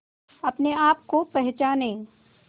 अपने आप को पहचाने